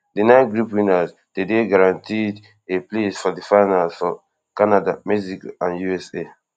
di nine group winners dey dey guaranteed a place for di finals for canada mexico and usa